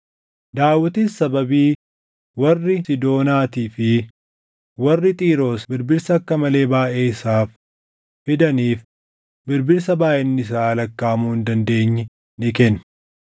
Daawitis sababii warri Siidoonaatii fi warri Xiiroos birbirsa akka malee baayʼee isaaf fidaniif birbirsa baayʼinni isaa lakkaaʼamuu hin dandeenye ni kenne.